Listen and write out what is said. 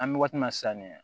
An bɛ waati min na sisan nin